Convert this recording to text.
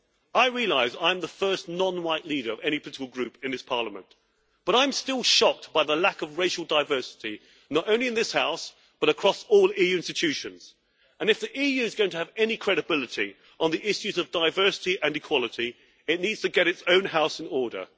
I realise I am the first non white leader of any political group in this Parliament, but I'm still shocked by the lack of racial diversity not only in this House, but across all EU institutions, and if the EU is going to have any credibility on the issues of diversity and equality, it needs to get its own house in order.